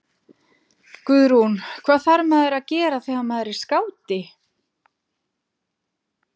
Guðrún: Hvað þarf maður að gera þegar maður er skáti?